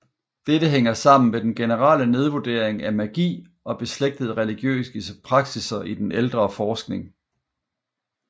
Dette hænger sammen med den generelle nedvurdering af magi og beslægtede religiøse praksisser i den ældre forskning